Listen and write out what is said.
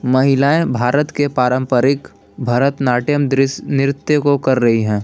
महिलाएं भारत के पारंपरिक भरतनाट्यम दृश्य नृत्य को कर रही है।